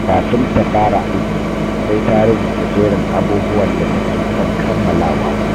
Kafin ta fara aiki, sai ta rubuta jerin abubuwan da take son kammalawa.